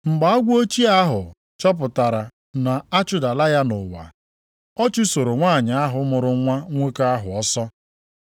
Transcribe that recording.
Mgbe agwọ ochie ahụ chọpụtara na a chụdala ya nʼụwa, ọ chụsoro nwanyị ahụ mụrụ nwa nwoke ahụ ọsọ.